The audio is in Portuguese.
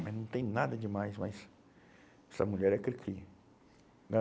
Mas não tem nada de mais, mas essa mulher é cri cri